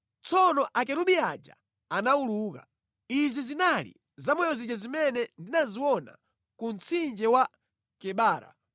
Tsono akerubi aja anawuluka. Izi zinali zamoyo zija zimene ndinaziona ku mtsinje wa Kebara.